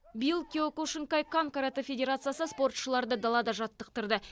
биыл киокушинкай кан каратэ федерациясы спортшыларды далада жаттықтырды